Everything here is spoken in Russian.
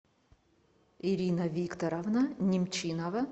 ирина викторовна немчинова